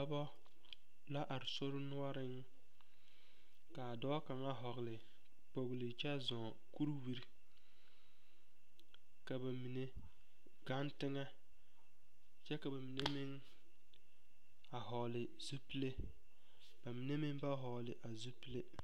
Dɔbɔ yaga la zeŋ ka ba mine tēɛ ba nuuri ka a do saa ka walansi pare tabol zu ka hbama pare a tabol zu ka ba mine yuo ba noɔre kyɛ su kparre sɔglɔ ka kparre peɛle ne a kparre sɔglɔ poɔ.